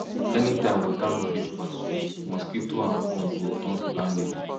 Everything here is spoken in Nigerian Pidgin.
anytime water no fit pass well mosquito and worm go turn landlady